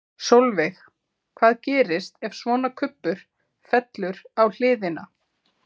Sólveig: Hvað gerist ef svona kubbur fellur á hliðina?